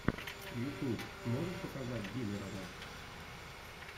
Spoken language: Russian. ютуб можешь показать диллерона